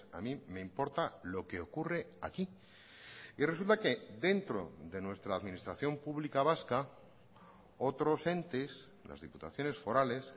a mí me importa lo que ocurre aquí y resulta que dentro de nuestra administración pública vasca otros entes las diputaciones forales